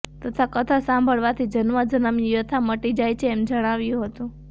તથા કથા સાંભળવાથી જન્મો જન્મની વ્યથા મટી જાય છે એમ જણાવ્યું હતું